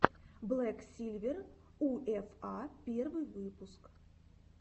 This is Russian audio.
блэк сильвер у эф а первый выпуск